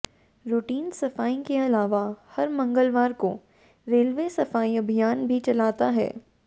routine सफाई के अलावा हर मंगलवार को रेलवे सफाई अभियान भी चलाता है